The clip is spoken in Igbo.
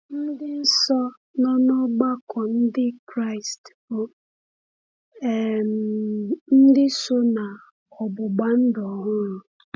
Ndị nsọ nọ n’ọgbakọ Ndị Kraịst bụ um ndị so na “ọgbụgba ndụ ọhụrụ.”